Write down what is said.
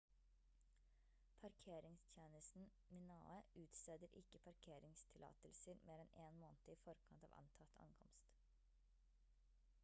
parkeringstjenesten minae utsteder ikke parkeringstillatelser mer enn én måned i forkant av antatt ankomst